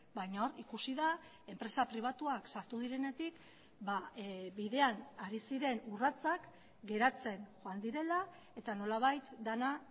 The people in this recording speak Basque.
baina hor ikusi da enpresa pribatuak sartu direnetik bidean hari ziren urratsak geratzen joan direla eta nolabait dena